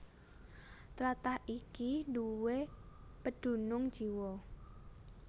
Tlatah iki duwé pedunung jiwa